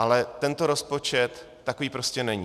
Ale tento rozpočet takový prostě není.